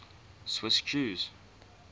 swiss jews